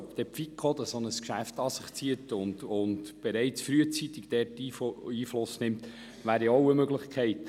Möglich wäre, dass die FiKo ein solches Geschäft an sich zieht und somit frühzeitig Einfluss nehmen kann.